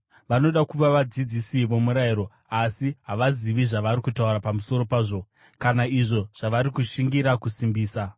Vanoda kuva vadzidzisi vomurayiro, asi havazivi zvavari kutaura pamusoro pazvo kana izvo zvavari kushingira kusimbisa.